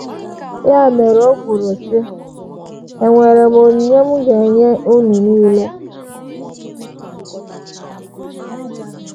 Ya mere o kwuru, sị: “ Enwere m onyinye m ga - enye unu nile. ”